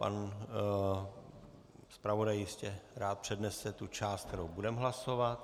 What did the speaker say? Pan zpravodaj jistě rád přednese tu část, kterou budeme hlasovat.